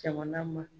Jamana ma